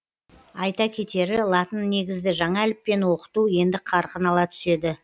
айта кетері латын негізді жаңа әліппені оқыту енді қарқын ала түседі